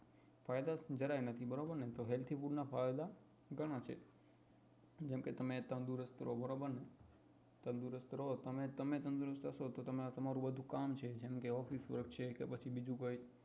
ફાયદા જરાય નથી બરોબર ને તો કે healthy food ના ફાયદા ઘણાય છે જેમ કે તમે તંદુરસ્ત રો તો બરોબર ને તમારું બધું તમારું office work છે કે પછી બીજું કઈ